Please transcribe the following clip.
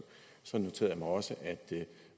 så noterede jeg mig også at